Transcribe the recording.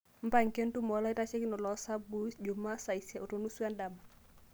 mpanga entumo oloitashekinok losabu jumaa saa isiet onusu endama